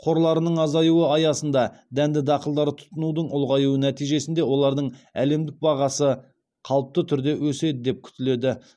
қорларының азаюы аясында дәнді дақылдарды тұтынудың ұлғаюы нәтижесінде олардың әлемдік бағасы қалыпты түрде өседі деп күтіледі